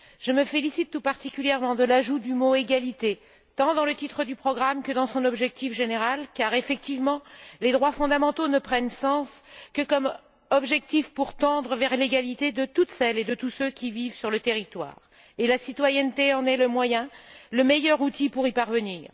Je me félicite tout particulièrement de l'ajout du mot égalité tant dans le titre du programme que dans son objectif général car, effectivement, les droits fondamentaux ne prennent tout leur sens que comme objectif pour tendre vers l'égalité de toutes celles et de tous ceux qui vivent sur le territoire, et la citoyenneté en est le moyen, le meilleur outil pour y parvenir.